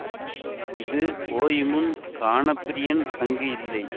இது ஓயுமுன் கானப்பிரியன் அங்கு இல்லை